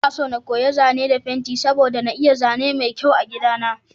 Inaso na koyi zane da fenti saboda na yi zane mai kyau a gida na.